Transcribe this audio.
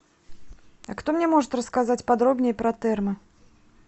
а кто мне может рассказать подробнее про термы